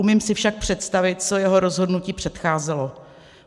Umím si však představit, co jeho rozhodnutí předcházelo.